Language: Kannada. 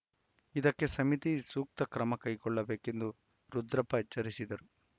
ಇದಕ್ಕೆ ಸಮಿತಿ ಸೂಕ್ತ ಕ್ರಮಕೈಗೊಳ್ಳಬೇಕು ಎಂದು ರುದ್ರಪ್ಪ ಎಚ್ಚರಿಸಿದರು